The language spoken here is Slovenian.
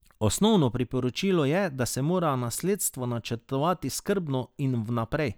Osnovno priporočilo je, da se mora nasledstvo načrtovati skrbno in vnaprej.